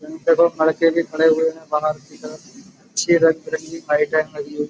इनके दो लड़के भी खड़े हुए हैं बाहर की तरफ। अच्छी रंग बिरंगी लाइटें लगी हुई --